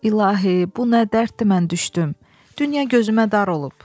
İlahi, bu nə dərddir mən düşdüm, dünya gözümə dar olub.